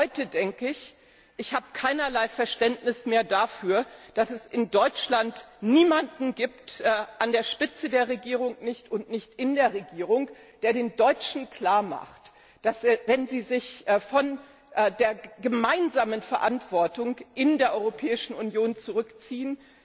Heute denke ich, ich habe keinerlei Verständnis mehr dafür, dass es in Deutschland niemanden gibt weder an der Spitze der Regierung noch in der Regierung der den Deutschen klarmacht, dass sie, wenn sie sich von der gemeinsamen Verantwortung in der Europäischen Union zurückziehen,